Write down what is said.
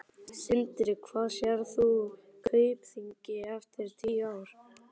Sindri: Hvar sérð þú Kaupþing eftir tíu ár?